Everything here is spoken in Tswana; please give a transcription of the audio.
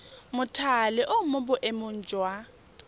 mothale o mo boemong jwa